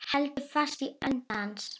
Heldur fast í hönd hans.